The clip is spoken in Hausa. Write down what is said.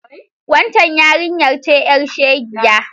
Wancen yarinyar ce ƴar shegiya?